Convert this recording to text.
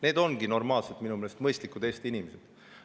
Need ongi minu meelest normaalsed, mõistlikud Eesti inimesed.